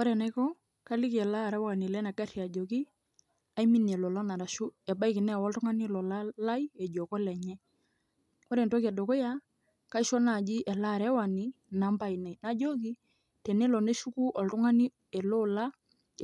Ore enaiko, kaliki ele arewani lenagarri ajoki, aiminie lolan arashu ebaiki neewa oltung'ani olola lai, ejo kolenye. Ore entoki edukuya, kaisho naji ele arewani inamba ainei. Najoki, tenelo neshuku oltung'ani eloola